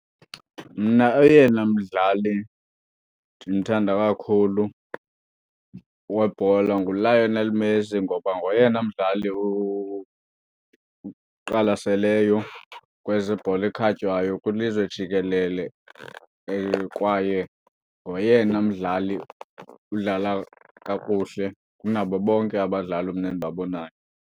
Mna oyena mdlali ndimthanda kakhulu webhola nguLionel Messi ngoba ngoyena mdlali uqwalaseleyo kwezebhola ekhatywayo kwilizwe jikelele. Kwaye ngoyena mdlali udlala kakuhle kunabo bonke abadlali mna endibabonayo.